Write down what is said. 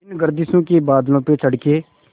इन गर्दिशों के बादलों पे चढ़ के